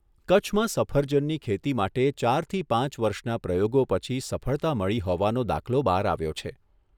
કચ્છમાં સફરજનની ખેતી માટે ચારથી પાંચ વર્ષના પ્રયોગો પછી સફળતા મળી હોવાનો દાખલો બહાર આવ્યો છે.